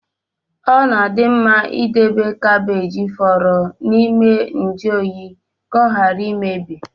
Ọ na-adị mma idobe gabe fọrọ n’ime njuoyi, ka ọ ghara imebi